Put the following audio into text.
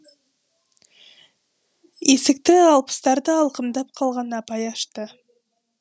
есікті алпыстарды алқымдап қалған апай ашты